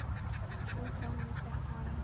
Sú þróun er þegar hafin.